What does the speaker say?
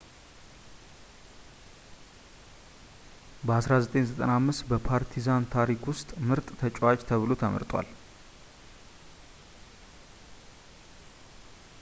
በ 1995 በፓርቲዛን ታሪክ ውስጥ ምርጥ ተጫዋች ተብሎ ተመርጧል